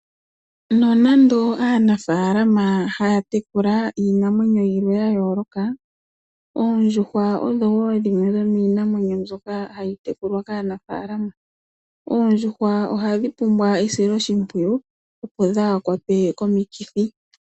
Nonande aanafaalama haya tekula iinamwenyo yimwe yayooloka. Oondjuhwa odho dhimwe dhomiinamwenyo ndyoka hayi tekulwa kaanafalama. Oondjuhwa ohadhi pumbwa esiloshipwiyu opo dhahakwatwe komikithi.